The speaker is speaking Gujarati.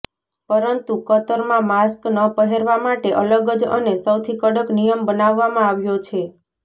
પરંતુ કતરમાં માસ્ક ન પહેરવા માટે અલગ જ અને સૌથી કડક નિયમ બનાવવામાં આવ્યો છે